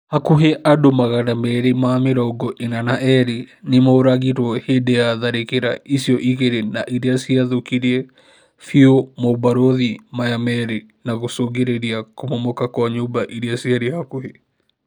Hakuhĩ andĩ magana meri ma mĩrongo ĩna na erĩ nĩmoragirwo hĩndĩ ya tharĩkĩra icio igĩri na irĩa ciathũkirie biũ mobarũthi maya merĩ na gũcũngĩrĩria kũmomoka kwa nyũmba irĩa ciarĩ hakuhĩ